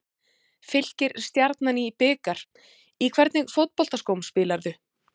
Fylkir-Stjarnan í bikar Í hvernig fótboltaskóm spilar þú?